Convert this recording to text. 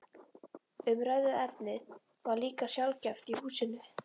Umræðuefnið var líka sjaldgæft í húsinu.